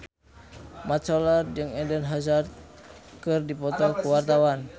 Mat Solar jeung Eden Hazard keur dipoto ku wartawan